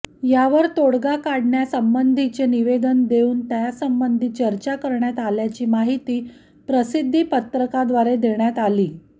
यावर तोडगा काढण्यासंबंधीचे निवेदन देऊन त्यासंबंधी चर्चा करण्यात आल्याची माहिती प्रसिद्धी पत्रकाद्वारे देण्यात आली